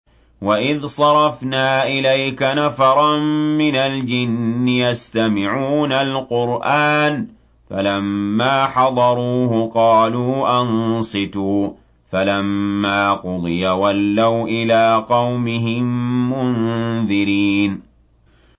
وَإِذْ صَرَفْنَا إِلَيْكَ نَفَرًا مِّنَ الْجِنِّ يَسْتَمِعُونَ الْقُرْآنَ فَلَمَّا حَضَرُوهُ قَالُوا أَنصِتُوا ۖ فَلَمَّا قُضِيَ وَلَّوْا إِلَىٰ قَوْمِهِم مُّنذِرِينَ